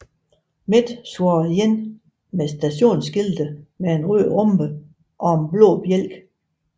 Met svarede igen med stationskilte med en rød rhombe og en blå bjælke